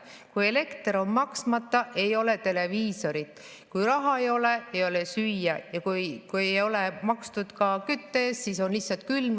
Kui elektri eest on maksmata, ei ole televiisorit, kui raha ei ole, ei ole süüa, ja kui ei ole makstud kütte eest või ei ole küttepuid, siis on lihtsalt külm.